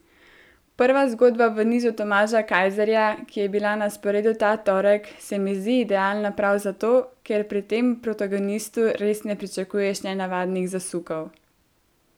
Prva zgodba v nizu Tomaža Kajzerja, ki je bila na sporedu ta torek, se mi zdi idealna prav zato, ker pri tem protagonistu res ne pričakuješ nenavadnih zasukov.